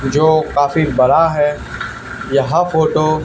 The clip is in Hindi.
जो काफी बड़ा है यह फोटो ।